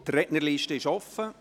Die Rednerliste ist offen.